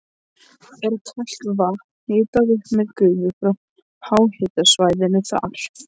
Er kalt vatn hitað upp með gufu frá háhitasvæðinu þar.